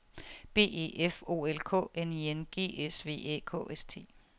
B E F O L K N I N G S V Æ K S T